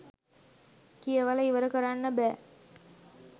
කියවල ඉවර කරන්න බෑ